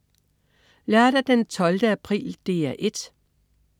Lørdag den 12. april - DR 1: